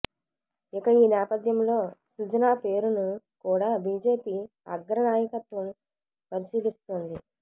ఇక ఈ నేపథ్యంలో సుజనా పేరును కూడా బిజెపి అగ్రనాయకత్వం పరిశీలిస్తోంది